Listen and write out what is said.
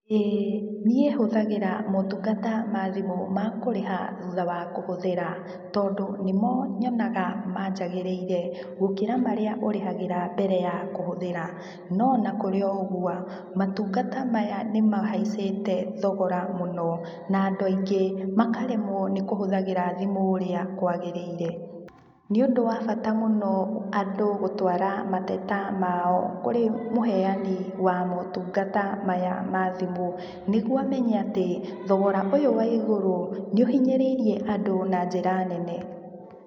Ĩĩ, niĩ hũthagĩra maũtungata ma thimũ ma kũrĩha thutha wa kũhũthĩra. Tondũ nĩmo nyonaga manjagĩrĩire, gũkĩra marĩa ũrĩhagĩra mbere ya kũhũthĩra. No ona kũrĩ ũguo, maũtungata maya nĩ mahaicĩte thogora mũno, na andũ aingĩ makaremwo nĩ kũhũthagĩra thimũ ũrĩa kwagĩrĩire. Nĩũndũ wa bata mũno andũ gũtwara mateta mao kũrĩ mũheani wa maũtungata maya ma thimũ, nĩguo amenye atĩ, thogora ũyũ wa igũrũ, nĩ ũhinyĩrĩirie andũ na njĩra nene.